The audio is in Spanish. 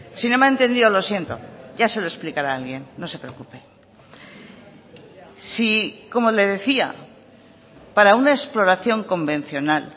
si no me ha entendido lo siento ya se lo explicará alguien no se preocupe si como le decía para una exploración convencional